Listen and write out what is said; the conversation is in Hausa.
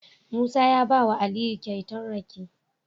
Musa ya bawa aliyu kyauta rake